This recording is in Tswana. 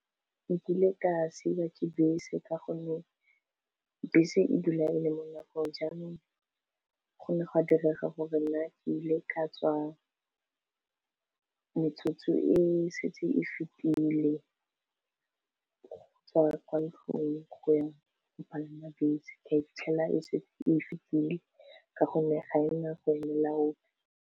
Nkile ka siwa ke bese ka gonne bese e dula e le mo nakong jaanong gone go ka direga gore nna ke ile ka tswa metsotso e setse e fetile go tswa kwa ntlong go yang go palama bese ka fitlhela e setse e fetile ka gonne ga ena go elela ope.